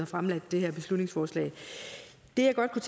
fremsat det her beslutningsforslag det jeg godt kunne